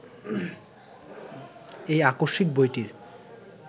এই আকস্মিক বইটির